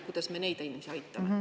Kuidas me neid inimesi aitame?